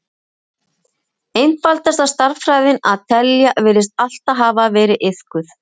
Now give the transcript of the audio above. Einfaldasta stærðfræðin, að telja, virðist alltaf hafa verið iðkuð.